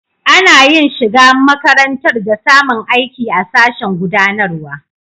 Ana yin shiga makarantar da samun aiki a sashen gudanarwa.